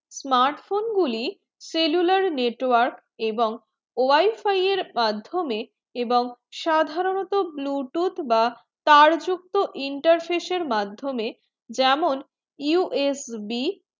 smartphone গুলি cellular network এবং wi fi মাধমিয়ে এবং সাধারণতঃ bluetooth বা তার যুক্ত interface মাধমিয়ে যেমন U S B